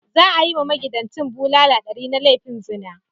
Za a yi wa magidancin bulala ɗari na laifin zina.